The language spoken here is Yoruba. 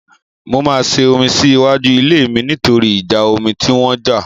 Mo máa ṣe omi sí iwájú ilé mi nítorí ìjà omi tí wọ́n jà.